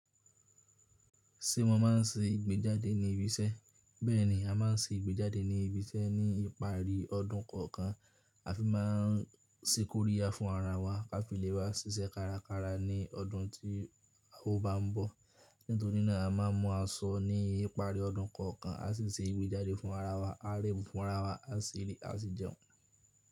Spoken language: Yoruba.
Ṣé wọ́n ma ń ṣe ìgbéjáde ní ibi iṣẹ́? Bẹ́ẹ̀ni, a má ń ṣe ìgbéjáde ní ibi iṣẹ́ ní ìparí ọdún kọ̀ọ̀kan. A fi má ń ṣíkóríya fún ara wa ká fi lè bá ṣiṣẹ́ kárakára ní ọdún tí a ó bá ń bọ̀. Nítorí náà a má ń mú aṣọ ní ìparí ọdún kọ̀ọ̀kan a sì ṣe ìgbéjáde fún ara wa. A rẹ́ fún ara wa, a ṣi jẹun.